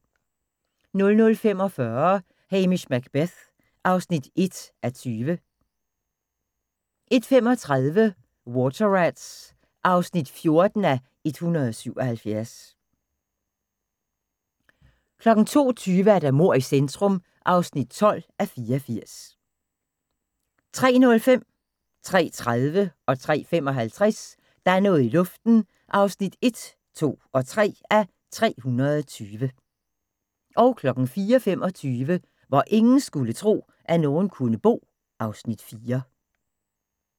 00:45: Hamish Macbeth (1:20) 01:35: Water Rats (14:177) 02:20: Mord i centrum (12:84) 03:05: Der er noget i luften (1:320) 03:30: Der er noget i luften (2:320) 03:55: Der er noget i luften (3:320) 04:25: Hvor ingen skulle tro, at nogen kunne bo (Afs. 4)